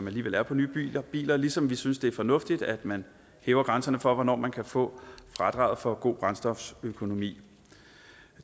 alligevel er på nye biler biler ligesom vi synes det er fornuftigt at man hæver grænserne for hvornår man kan få fradrag for god brændstoføkonomi